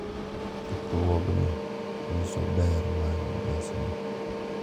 Chokruokni nyiso ber mar nyasino,